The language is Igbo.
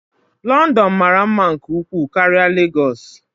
London mara mma nke ukwuu karịa Lagos.